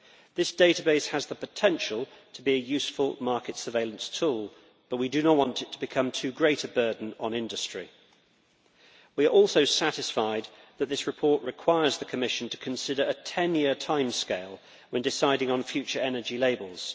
This database has the potential to be a useful market surveillance tool, but we do not want it to become too great a burden on industry. We are also satisfied that this report requires the Commission to consider a ten year timescale when deciding on future energy labels.